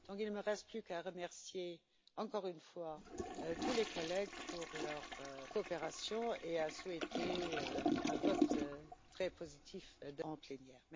Il ne me reste plus qu'à remercier encore une fois tous les collègues pour leur coopération et à souhaiter, demain, un vote très positif en plénière.